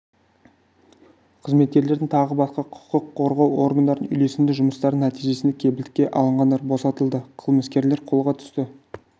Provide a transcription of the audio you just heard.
қызметкерлерінің тағы басқа құқық қорғау органдарының үйлесімді жұмыстарының нәтижесінде кепілдікке алынғандар босатылды қылмыскерлер қолға түсті